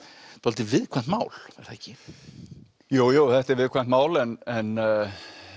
dálítið viðkvæmt mál er það ekki jú jú þetta er viðkvæmt mál en